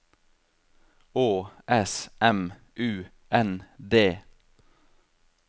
Å S M U N D